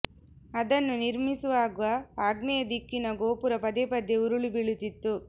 ಅದನ್ನು ನಿರ್ಮಿಸುವಾಗ ಆಗ್ನೇಯ ದಿಕ್ಕಿನ ಗೋಪುರ ಪದೇ ಪದೇ ಉರುಳಿ ಬೀಳುತ್ತಿತ್ತು